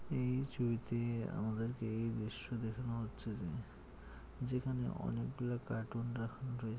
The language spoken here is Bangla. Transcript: এই ছবিতে আমাদের কে এই দৃশ্য দেখানো হচ্ছে যে যেখানে অনেক কাটুন রাখান রয়েছে